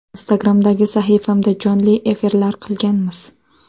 Instagram’dagi sahifamda jonli efirlar qilganmiz.